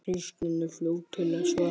Kristín er fljót til svars.